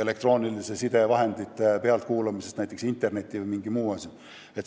elektrooniliste sidevahendite kasutamise jälgimisest, näiteks internet või mingi muu asi.